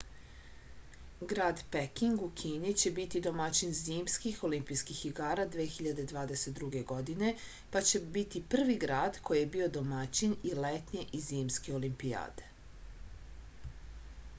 grad peking u kini će biti domaćin zimskih olimpijskih igara 2022. godine pa će biti prvi grad koji je bio domaćin i letnje i zimske olimpijade